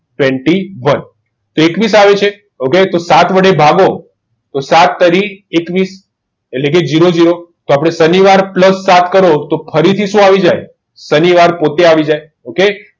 tweenty one તો એકવીસ આવે છે તો સાત વડે ભાગો તો સાત તરી એકવીસ એટલે zero zero શનિવાર પ્લસ વાત કરો તો શું આવી જાય શનિવાર પોતે આવી જાય ok